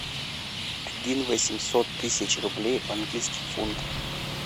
один восемьсот тысяч рублей в английских фунтах